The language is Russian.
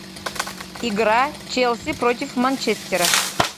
игра челси против манчестера